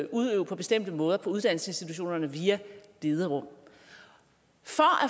udøve på bestemte måder på uddannelsesinstitutionerne via bederum